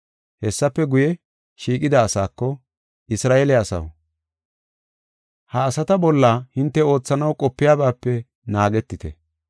Hessafe guye, shiiqida asaako, “Isra7eele asaw, ha asata bolla hinte oothanaw qopiyabaape naagetite.